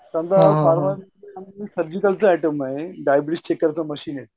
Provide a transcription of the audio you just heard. Pharma आहे ठीक करतं मशीन आहे.